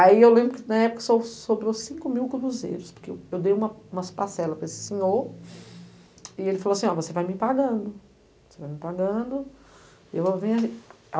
Aí eu lembro que na época só sobrou cinco mil cruzeiros, porque eu dei uma umas parcelas para esse senhor e ele falou assim, ó, você vai me pagando, você vai me pagando eu vou vendo.